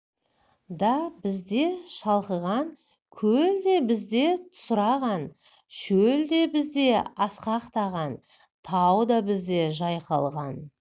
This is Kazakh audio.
да бізде шалқыған көл де бізде тусыраған шөл де бізде асқақтаған тау да бізде жайқалған